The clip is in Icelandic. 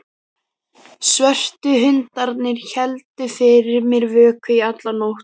Svörtu hundarnir héldu fyrir mér vöku í alla nótt.